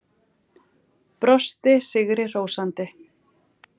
Brosti sigri hrósandi.